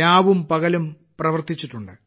രാവുംപകലും പ്രവർത്തിച്ചിട്ടുണ്ട്